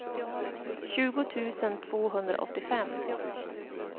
tjugo tusen tvåhundraåttiofem